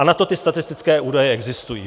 A na to ty statistické údaje existují.